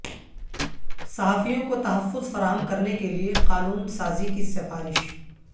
صحافیوں کو تحفظ فراہم کرنے کے لیے قانون سازی کی سفارش